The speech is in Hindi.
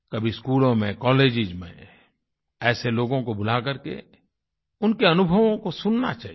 कभी स्कूलों में कॉलेजेस में ऐसे लोगों को बुला करके उनके अनुभवों को सुनना चाहिए